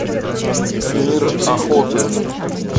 мир охоты